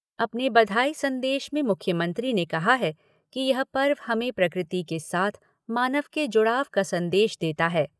अपने बधाई संदेश में मुख्यमंत्री ने कहा है कि यह पर्व हमें प्रकृति के साथ मानव के जुड़ाव का संदेश देता है।